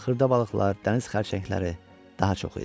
Xırda balıqlar, dəniz xərçəngləri daha çox idi.